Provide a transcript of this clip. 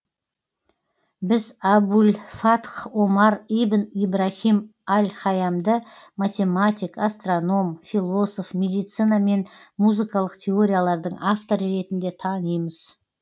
біз абу ль фатх омар ибн ибраһим аль һайямды математик астроном философ медицина мен музыкалық теориялардың авторы ретінде танимыз